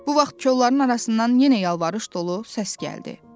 Bu vaxt kolluların arasından yenə yalvarış dolu səs gəldi.